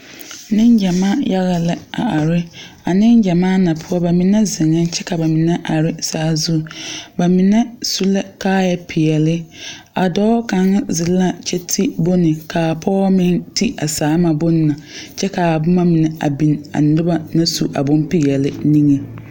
Neŋgyamaa la are a neŋgyamaa ŋa poɔ ba mine zeŋɛɛ kyɛ ka ba mine are saazu ba mine su la kaaya peɛle a dɔɔ kaŋ zeŋ la kyɛ ti bone ka pɔge meŋ ti a saana bona kyɛ ka a boma mine a biŋ a noba naŋ su a bompeɛle niŋe.